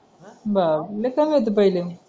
बाबरे rate चांगले होते पहिले